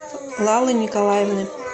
лалы николаевны